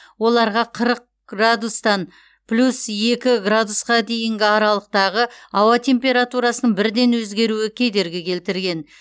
оларға қырық градустан плюс екі градусқа дейінгі аралықтағы ауа температурасының бірден өзгеруі кедергі келтірген